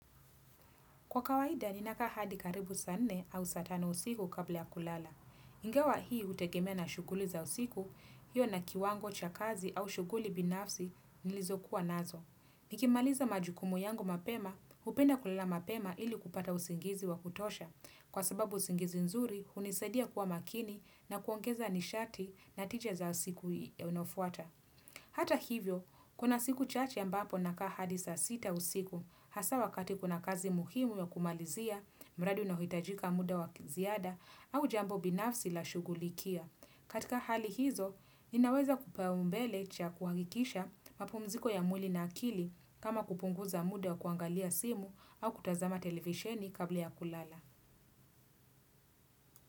Kwa kawaida, ninakaa hadi karibu saa nne au saa tano usiku kabla ya kulala. Ingawa hii hutegemea na shughuli za usiku, hiyo na kiwango cha kazi au shughuli binafsi nilizokuwa nazo. Nikimaliza majukumu yangu mapema, hupenda kulala mapema ili kupata usingizi wa kutosha. Kwa sababu usingizi nzuri, hunisadia kuwa makini na kuongeza nishati na tija za siku inayofuata. Hata hivyo, kuna siku chache ambapo nakaa hadi saa sita usiku, Hasa wakati kuna kazi muhimu ya kumalizia, mradi unaohitajika muda wa ziada au jambo binafsi nashughulikia. Katika hali hizo, ninaweza kupaumbele cha kuhakikisha mapumziko ya mwili na akili kama kupunguza muda wa kuangalia simu au kutazama televisheni kabla ya kulala.